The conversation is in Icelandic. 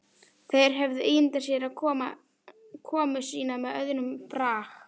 Þeir höfðu ímyndað sér komu sína með öðrum brag.